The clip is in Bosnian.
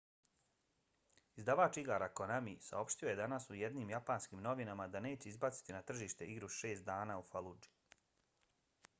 izdavač igara konami saopštio je danas u jednim japanskim novinama da neće izbaciti na tržište igru šest dana u faludži